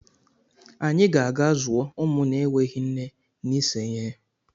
Anyị ga-aga zụọ ụmụ na-enweghị nne n'ise ihe.